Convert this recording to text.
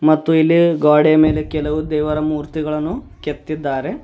ಮತ್ತು ಇಲ್ಲಿ ಗ್ವಾಡಿಯ ಮೇಲೆ ಕೆಲವು ದೇವರ ಮೂರ್ತಿಗಳನ್ನು ಕೆತ್ತಿದ್ದಾರೆ.